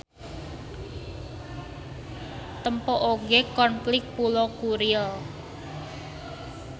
Tempo oge konflik Pulo Kuril.